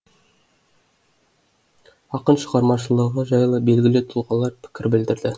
ақын шығармашылығы жайлы белгілі тұлғалар пікір білдірді